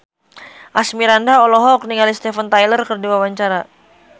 Asmirandah olohok ningali Steven Tyler keur diwawancara